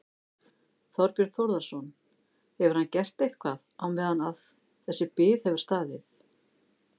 Þorbjörn Þórðarson: Hefur hann gert eitthvað á meðan að þessi bið hefur staðið?